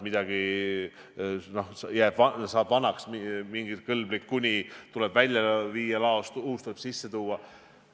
Midagi saab vanaks, mingi "kõlblik kuni" tuleb laost välja viia, uus kogus sisse tuua.